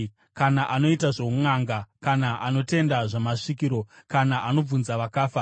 kana anoita zvounʼanga, kana anotenda zvamasvikiro kana anobvunza vakafa.